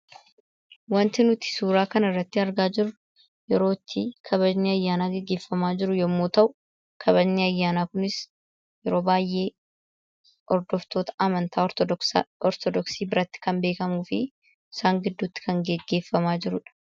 Wanti nuti suuraa kanarratti argaa jirru yerootti kabajni ayyaanaa gaggeeffamaa jiru yommuu ta'u, kabajni ayyaanaa kunis yeroo baay'ee hordoftoota amantaa Ortodooksii biratti kan beekamu fi isaan gidduutti kan gaggeeffamaa jirudha.